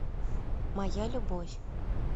моя любовь